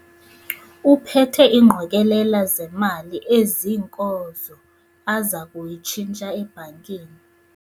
Uphethe ingqokelela zemali eziinkozo aza kuyitshintsha ebhankini.